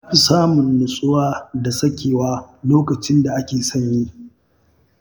Na fi samun nutsuwa da sakewa a lokacin da ake sanyi.